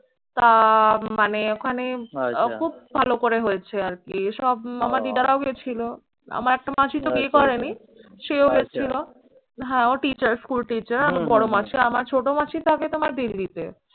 তা মানে ওখানে খুব ভালো করে হয়েছে আরকি। সব আমার দিদারাও গেছিলো। আমার একটা মাসিতো বিয়ে করেনি, সেও গেছিলো। হ্যাঁ ও teacher school teacher আমার বড়ো মাসি, আমার ছোট মাসি থাকে তোমার দিল্লিতে।